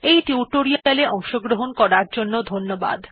এই টিউটোরিয়াল এ অংশগ্রহণ করার জন্য ধন্যবাদ